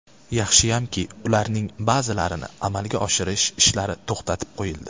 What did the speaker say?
Yaxshiyamki, ularning ba’zilarini amalga oshirish ishlari to‘xtatib qo‘yildi.